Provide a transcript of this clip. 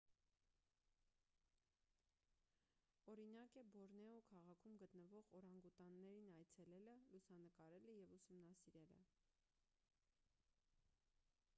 օրինակ է բորնեո քաղաքում գտնվող օրանգուտաններին այցելելը լուսանկարելը և ուսումնասիրելը